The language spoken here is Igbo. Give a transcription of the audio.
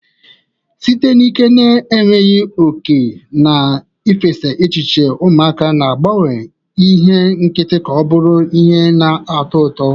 Site n'ike na-enweghị oke na ifesa echiche, ụmụaka na-agbanwe ihe nkịtị ka ọ bụrụ ihe na-atọ ụtọ